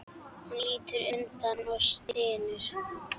Hann lítur undan og stynur.